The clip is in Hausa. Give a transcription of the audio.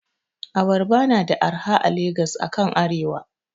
Abarba na da arha a Lagos akan arewa.